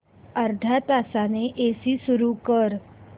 अर्ध्या तासाने एसी सुरू कर